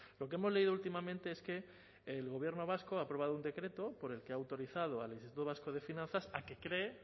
lo que hemos leído últimamente es que el gobierno vasco ha aprobado un decreto por el que ha autorizado al instituto vasco de finanzas a que cree